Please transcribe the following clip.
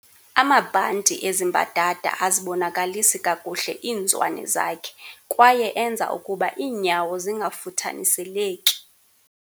amabhanti ezi mbadada azibonakalisi kakuhle iizwane zakhe kwaye enza ukuba iinyawo zingafuthaniseleki